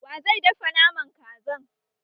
Wa zai dafa Naman Kazan?